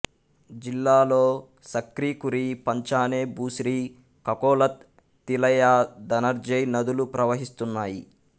జిల్లాలో సక్రి కురి పంచానె భుస్రి కకొలత్ తిలైయా ధనర్జయ్ నదులు ప్రవహిస్తున్నాయి